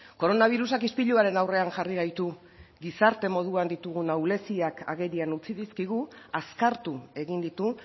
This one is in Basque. koronabirusak ispiluaren aurrean jarri gaitu gizarte moduan ditugun ahuleziak agerian utzi dizkigu azkartu egin ditu